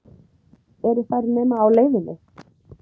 Eru þær nema á leiðinni?